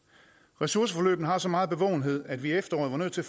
ressourceforløbene har så meget bevågenhed at vi i efteråret var nødt til